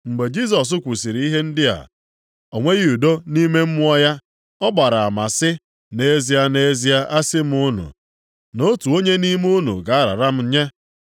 Mgbe Jisọs kwusiri ihe ndị a, o nweghị udo nʼime mmụọ ya. Ọ gbara ama sị, “Nʼezie, nʼezie, a sị m unu, na otu onye nʼime unu ga-arara m nye.”